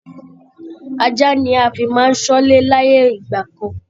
Ajá ni a fi máa ń ṣọ́lé láyé ìgbà kan